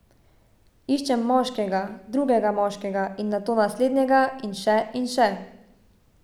Iščem moškega, drugega moškega, in nato naslednjega in še in še.